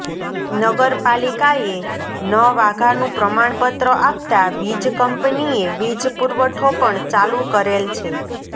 નગર પાલિકાએ ન વાઘાનુ પ્રમાણ પત્ર આપતા વીજ કંપનીએ વીજ પુરવઠો પણ ચાલુ કરેલ છે